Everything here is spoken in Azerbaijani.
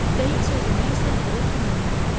Dəqiq söz demək isə hələ ki, mümkün deyil.